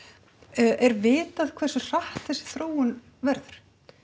er vitað hversu hratt þessi þróun verður